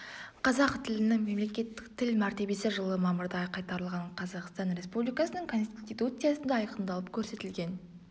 қазақ тілінің мемлекеттік тіл мәртебесі жылы мамырда қайтарылған қазақстан республикасының конституциясында айқындалып көрсетілген